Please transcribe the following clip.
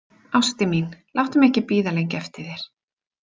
Ástin mín, láttu mig ekki bíða lengi eftir þér.